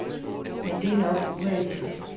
Men det er nok urealistisk.